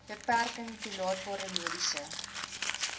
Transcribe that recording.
beperking toelaatbare mediese